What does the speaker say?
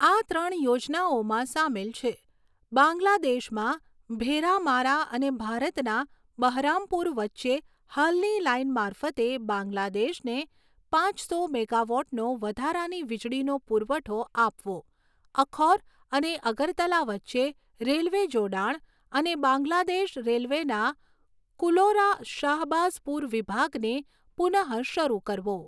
આ ત્રણ યોજનાઓમાં સામેલ છે, બાંગ્લાદેશમાં ભેરામારા અને ભારતના બહરામપુર વચ્ચે હાલની લાઇન મારફતે બાંગ્લાદેશને પાંચસો મેગાવોટનો વધારાની વીજળીનો પુરવઠો આપવો, અખૌર અને અગરતલા વચ્ચે રેલવે જોડાણ અને બાંગ્લાદેશ રેલવેના કુલોરા શાહબાઝપુર વિભાગને પુનઃશરૂ કરવો.